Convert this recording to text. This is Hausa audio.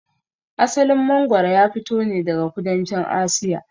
Asalin mangwaro ya fito ne daga kudancin Asiya.